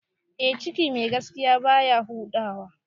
A ciki mai gaskiya baya huda wa